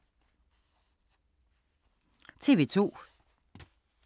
TV 2